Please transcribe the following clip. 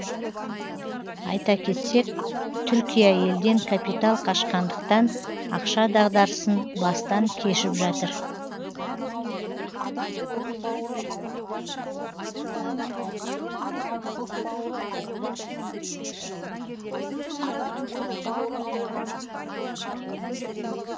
айта кетсек түркия елден капитал қашқандықтан ақша дағдарысын бастан кешіп жатыр